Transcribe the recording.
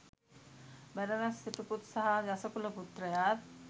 බරණැස් සිටුපුත් සහ යසකුල පුත්‍රයාත්